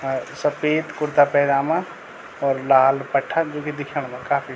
अ सपेद कुर्ता पैजामा और लाल दुपट्ठा जू की दिखेण मा काफी --